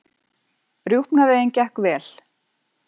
Rjúpnaveiðin gekk vel